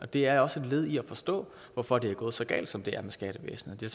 det er også et led i at forstå hvorfor det er gået så galt som det er med skattevæsenet det